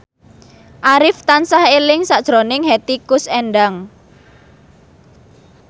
Arif tansah eling sakjroning Hetty Koes Endang